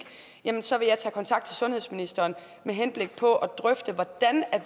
så vil jeg tage kontakt til sundhedsministeren med henblik på at drøfte hvordan vi